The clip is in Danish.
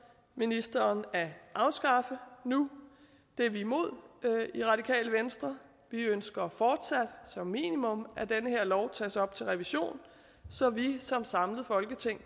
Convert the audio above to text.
ministeren at afskaffe nu det er vi imod i radikale venstre vi ønsker fortsat som minimum at den her lov tages op til revision så vi som et samlet folketing